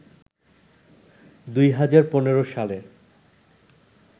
২০১৫ সালের